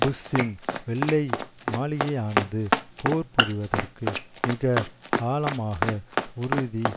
புஷ்ஷின் வெள்ளை மாளிகையானது போர் புரிவதற்கு மிக ஆழமாக உறுதி